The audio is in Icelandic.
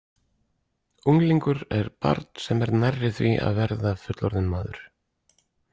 Unglingur er barn, sem er nærri því að verða fullorðinn maður.